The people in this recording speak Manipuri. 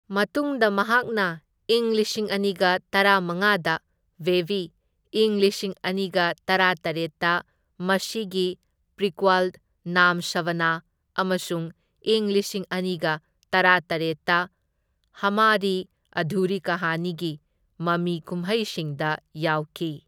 ꯃꯇꯨꯡꯗ ꯃꯍꯥꯛꯅ ꯢꯪ ꯂꯤꯁꯤꯡ ꯑꯅꯤꯒ ꯇꯔꯥꯃꯉꯥꯗ ꯕꯦꯕꯤ, ꯢꯪ ꯂꯤꯁꯤꯡ ꯑꯅꯤꯒ ꯇꯔꯥꯇꯔꯦꯠꯇ ꯃꯁꯤꯒꯤ ꯄ꯭ꯔꯤꯀ꯭ꯋꯜ ꯅꯥꯝ ꯁꯕꯥꯅꯥ ꯑꯃꯁꯨꯡ ꯢꯪ ꯂꯁꯤꯡ ꯑꯅꯤꯒ ꯇꯔꯥꯇꯔꯦꯠꯇ ꯍꯃꯥꯔꯤ ꯑꯙꯨꯔꯤ ꯀꯍꯥꯅꯤꯒꯤ ꯃꯃꯤ ꯀꯨꯝꯍꯩꯁꯤꯡꯗ ꯌꯥꯎꯈꯤ꯫